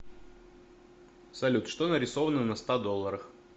салют что нарисовано на ста долларах